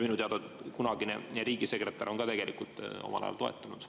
Minu teada on kunagine riigisekretär seda omal ajal toetanud.